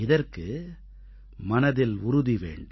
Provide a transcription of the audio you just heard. இதற்கு மனதில் உறுதி வேண்டும்